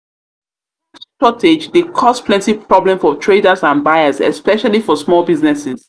cash shortage dey cause plenty problem for traders and buyers especially for small businesses.